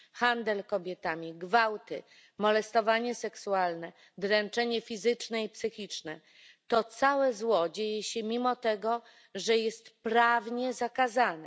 Handel kobietami, gwałty, molestowanie seksualne, dręczenie fizyczne i psychiczne, to całe zło dzieje się mimo tego, że jest prawnie zakazane.